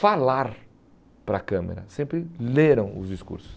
falar para a câmera, sempre leram os discursos.